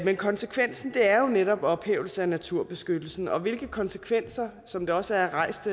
men konsekvensen er jo netop ophævelse af naturbeskyttelsen og hvilke konsekvenser som der også er rejst